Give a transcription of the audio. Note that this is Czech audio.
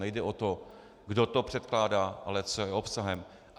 Nejde o to, kdo to předkládá, ale co je obsahem.